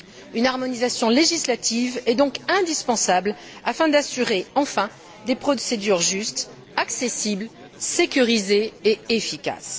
Une harmonisation législative est donc indispensable afin d'assurer, enfin, des procédures justes, accessibles, sécurisées et efficaces.